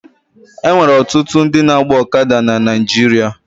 E nwere ọtụtụ ndị na-agba ọkada na Naịjirịa.